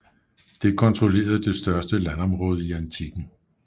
Det kontrollerede det største landområde i antikken